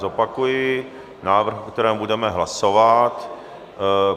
Zopakuji návrh, o kterém budeme hlasovat.